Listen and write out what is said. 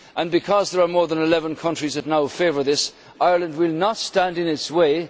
Because there are more than 11 countries that now favour this, Ireland will not stand in its way.